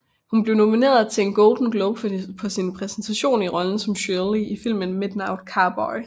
Hun blev nomineret til en Golden Globe for sin præstation i rollen som Shirley i filmen Midnight Cowboy